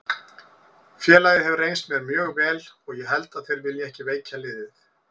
Félagið hefur reynst mér mjög vel og ég held að þeir vilji ekki veikja liðið.